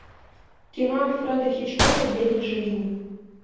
кино альфреда хичкока девять жизней